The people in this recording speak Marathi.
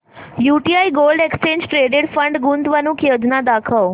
UTI gold exchange traded fund गुंतवणूक योजना दाखव